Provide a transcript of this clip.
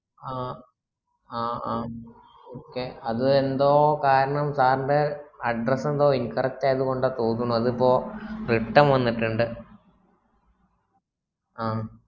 ആഹ് ആ ആ okay അത് എന്തോ കാരണം sir ന്റെ address ഇന്തോ incorrect ആയത് കൊണ്ടാ തോനുന്നു അതിപ്പോ return വന്നിട്ടുണ്ട് ആഹ്